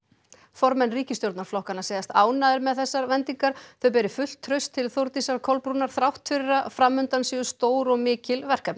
formenn ríkisstjórnarflokkanna segjast ánægðir með þessar vendingar þau beri fullt traust til Þórdísar Kolbrúnar þrátt fyrir að fram undan séu stór og mikil verkefni